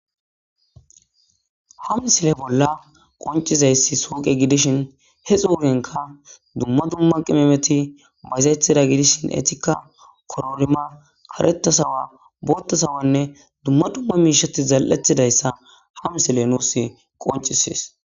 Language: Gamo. ha misile bolla qoncizayssi sooqe gidishin he xuurenka dumma dumma qimemeti bazethida gidishin etikka kororima karetasawa boottasawanne dumma dumma miishati zal7ethidayssa ha misile nuus qoncisis